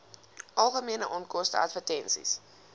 algemene onkoste advertensies